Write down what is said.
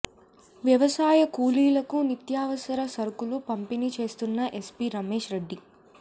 వ్యవసాయ కూలీలకు నిత్యావసర సరుకులు పంపిణీ చేస్తున్న ఎస్పీ రమేష్ రెడ్డి